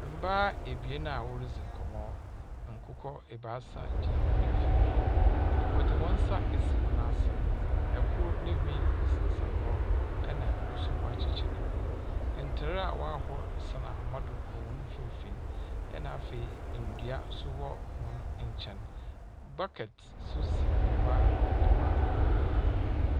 Mbaa ebien a ɔredze nkɔmmɔ. Akokɔ ebaasa gyina hɔn mfimfinn. Wɔde hɔn nsa esi hɔn asen. Ɛkoro ne nhwi sensɛn hɔ ɛna ɛkoro nsoso woakyekyere ne nhwi. Ntaadeɛ wɔahoro san ahoma do wɔ hɔn mfimfini wna afei ndua nso wɔ hɔn nkyɛn. Bucket nso si hɔ a nneema wɔ mu.